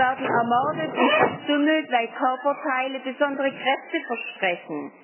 Sie werden ermordet und verstümmelt, weil ihre Körperteile besondere Kräfte versprechen.